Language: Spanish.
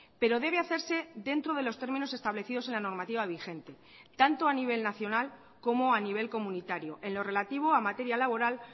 pero debe hacerse dentro de los términos establecidos en la normativa vigente tanto a nivel nacional como a nivel comunitario en lo relativo a materia laboral